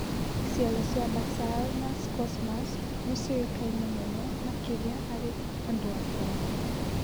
Cero cia Basal na Squamous nĩciũĩkaine mũno makĩria harĩ andũ akũrũ